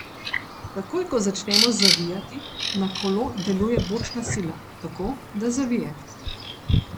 Takoj ko začnemo zavijati, na kolo deluje bočna sila, tako, da zavije.